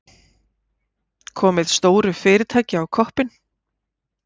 Komið stóru fyrirtæki á koppinn.